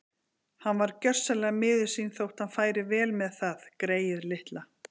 Hann var gjörsamlega miður sín þótt hann færi vel með það, greyið litla.